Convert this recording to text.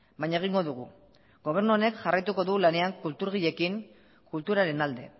baina egingo dugu gobernu honek jarraituko du lanean kulturgileekin kulturaren alde